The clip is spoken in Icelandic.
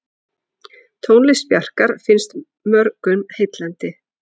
Tónlist Bjarkar finnst mörgum heillandi.